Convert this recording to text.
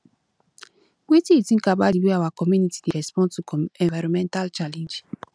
wetin you think about di way our community dey respond to environmental challenges